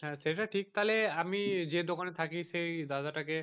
হাঁ সেটা ঠিক তালে আমি যে দোকানে থাকি সেই দাদা টাকে